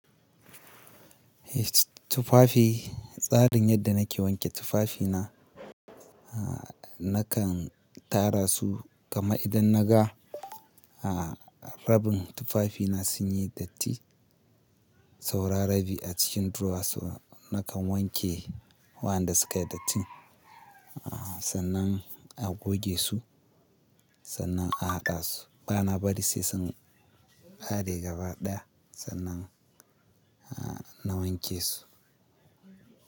Eh tufafi, tsarin yadda nake wanke tufafina, nakan tara su kamar idan naga rabin tufafina sun yi datti, saura rabi a cikin drawers ɗina nakan wanke waɗanda sukayi datti, sannan a goge su sannan a haɗa su. Bana bari sai sun ƙare gaba ɗaya sannan na wanke su.